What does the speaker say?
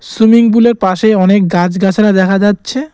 Swimming pool -এর পাশেই অনেক গাছ-গাছড়া দেখা যাচ্ছে।